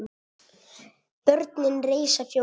Börnin reisa Fjólu við.